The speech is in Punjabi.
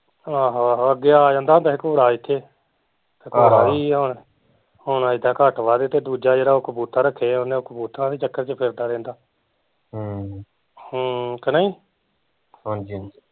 ਆਹੋ ਆਹੋ ਅੱਗੇ ਆ ਜਾਂਦਾ ਹੁੰਦਾ ਸੀ ਘੂਰਾ ਇੱਥੇ ਹੁਣ ਆਈਦਾ ਘੱਟ ਵੱਧ ਤੇ ਦੂਜਾ ਜਿਹੜਾ ਕਬੂਤਰ ਰੱਖੇ ਆ ਓਹਨੇ ਓਹ ਕਬੂਤਰਾਂ ਦੇ ਚੱਕਰ ਚ ਫਿਰਦਾ ਰਹਿੰਦਾ ਹਮ ਹਮ ਕਿ ਨਹੀਂ